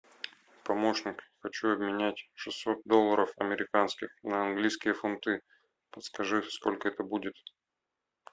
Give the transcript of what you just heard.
помощник хочу обменять шестьсот долларов американских на английские фунты подскажи сколько это будет